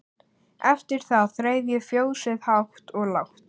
Eftir það þreif ég fjósið hátt og lágt.